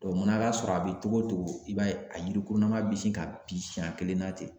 Dɔnku o mana k'a sɔrɔ a bi togo togo i b'a ye a yirikurulama be se ka bin siɲɛn kelen na ten